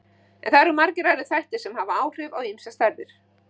En það eru margir aðrir þættir sem hafa áhrif á þessar stærðir.